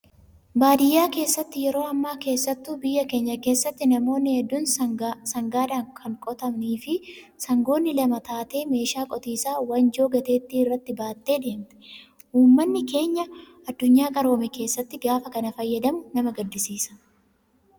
Baadiyyaa keessatti yeroo ammaa keessattuu biyya keenya keessatti namoonni hedduun sangaadhaan kan qotamii fi sangoonni lama taatee meeshaa qotiisaa wanjoo gateettii irratti baattee deemti. Uummanni keenya addunyaa qaroome keessatti gaafa kana fayyadamu nama gaddisiisa.